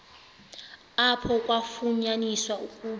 apho kwafunyaniswa ukuba